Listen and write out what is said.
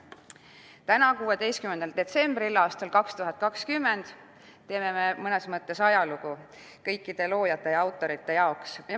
Täna, 16. detsembril 2020 teeme me mõnes mõttes ajalugu kõikide loojate, kõikide autorite jaoks.